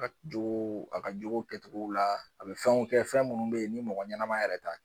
A ka jogow a ka jogo kɛcogow la a bɛ fɛnw kɛ fɛn minnu bɛ yen ni mɔgɔ ɲɛnama yɛrɛ t'a